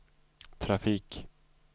trafik